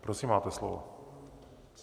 Prosím, máte slovo.